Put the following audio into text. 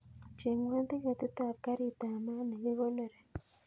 Chengwon tiketit ab garit ab maat nekikonori